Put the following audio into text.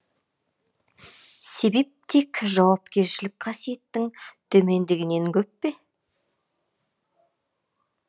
себеп тек жауапкершілік қасиеттің төмендегенінен көп пе